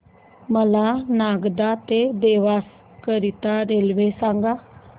मला नागदा ते देवास करीता रेल्वे सांगा